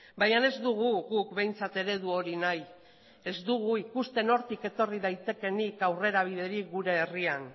baina ez dugu guk behintzat eredu hori nahi ez dugu ikusten hortik etorri daitekeenik aurrerabiderik gure herrian